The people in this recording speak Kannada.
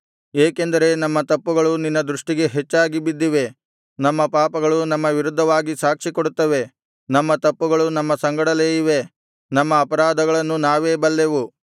ಏಕೆಂದರೆ ನಮ್ಮ ತಪ್ಪುಗಳು ನಿನ್ನ ದೃಷ್ಟಿಗೆ ಹೆಚ್ಚಾಗಿ ಬಿದ್ದಿವೆ ನಮ್ಮ ಪಾಪಗಳು ನಮ್ಮ ವಿರುದ್ಧವಾಗಿ ಸಾಕ್ಷಿಕೊಡುತ್ತವೆ ನಮ್ಮ ತಪ್ಪುಗಳು ನಮ್ಮ ಸಂಗಡಲೇ ಇವೆ ನಮ್ಮ ಅಪರಾಧಗಳನ್ನು ನಾವೇ ಬಲ್ಲೆವು